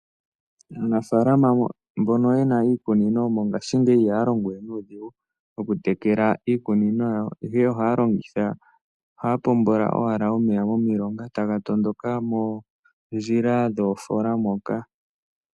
Aanafalama mbono yena iikunino mongaashingeyi ihaya longo we nuudhigu, okutekela iikunino yawo, ihe ohaya pombele owala omeya okuza momilonga, e taga tondoka mondjila dhoofoola moka.